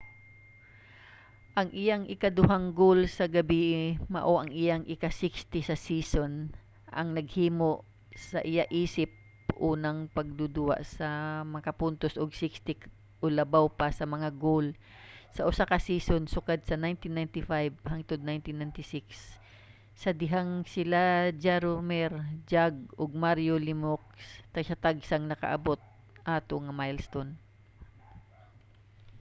ang iyang ikaduhang goal sa gabie mao ang iyang ika-60 sa season ang naghimo sa iya isip unang magduduwa nga nakapuntos og 60 o labaw pa nga mga goal sa usa ka season sukad 1995-96 sa dihang sila si jaromir jagr ug mario lemieux tagsa-tagsang nakaabot ato nga milestone